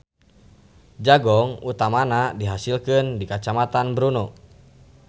Jagong utamana dihasilkeun di Kacamatan Bruno.